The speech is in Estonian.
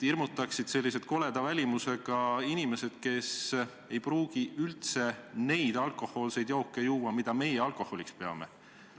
Hirmutaksid koleda välimusega inimesed, kes ei pruugi üldse juua neid alkohoolseid jooke, mida meie alkoholiks peame.